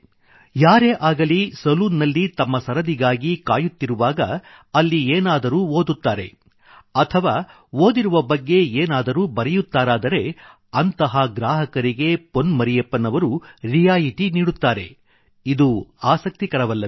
ಯಾರೇ ಆಗಲಿ ಸಲೂನ್ ನಲ್ಲಿ ತಮ್ಮ ಸರದಿಗಾಗಿ ಕಾಯುತ್ತಿರುವಾಗ ಅಲ್ಲಿ ಏನಾದರೂ ಓದುತ್ತಾರೆ ಅಥವಾ ಓದಿರುವ ಬಗ್ಗೆ ಏನಾದರೂ ಬರೆಯುತ್ತಾರಾದರೆ ಅಂಥ ಗ್ರಾಹಕರಿಗೆ ಪೊನ್ ಮರಿಯಪ್ಪನ್ ಅವರು ರಿಯಾಯಿತಿ ನೀಡುತ್ತಾರೆ ಇದು ಆಸಕ್ತಿಕರವಲ್ಲವೇ